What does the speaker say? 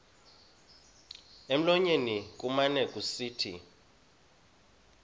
emlonyeni kumane kusithi